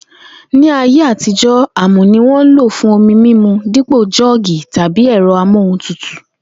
Ní ayé àtijó̩, àmù ni wó̩n n lò fún omi mímu dípò jó̩ò̩gì tàbí e̩ro̩ amohuntutù